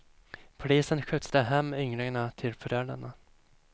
Polisen skjutsade hem ynglingarna till föräldrarna.